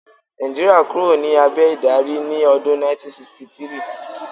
Nàìjíríà kúrò ní abẹ̀ ìdarí ní ọdún 1963